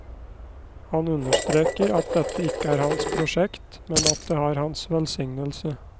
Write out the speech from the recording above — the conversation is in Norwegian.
Han understreker at dette ikke er hans prosjekt, men at det har hans velsignelse.